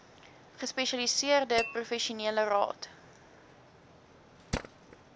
gespesialiseerde professionele raad